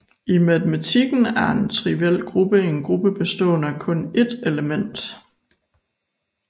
I matematikken er en triviel gruppe en gruppe bestående af kun ét element